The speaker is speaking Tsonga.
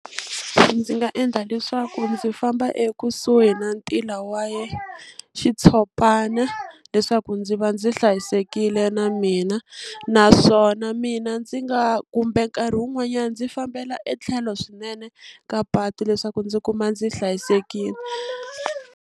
Ndzi nga endla leswaku ndzi famba ekusuhi na ntila wa ya xitshopana leswaku ndzi va ndzi hlayisekile na mina naswona mina ndzi nga kumbe nkarhi wun'wanyani ndzi fambela etlhelo swinene ka patu leswaku ndzi kuma ndzi hlayisekile.